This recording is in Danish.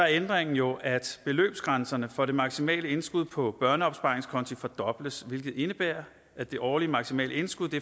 ændringen jo at beløbsbrænserne for det maksimale indskud på børneopsparingskonti fordobles hvilket indebærer at det årlige maksimale indskud